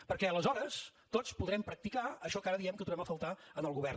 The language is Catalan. perquè aleshores tots podrem practicar això que ara diem que trobem a faltar en el govern